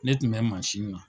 Ne tun bɛ na.